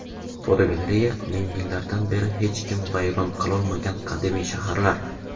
Fotogalereya: Ming yillardan beri hech kim vayron qilolmagan qadimiy shaharlar.